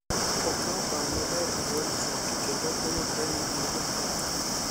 okawo okang’ maber e yor chik kendo oyudre ni en jaketho.